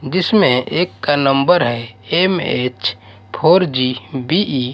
जिसमें एक का नंबर है एम_एच फोर जी बी_ई --